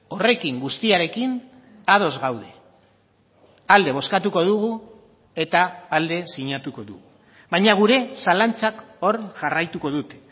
horrekin guztiarekin ados gaude alde bozkatuko dugu eta alde sinatuko dugu baina gure zalantzak hor jarraituko dute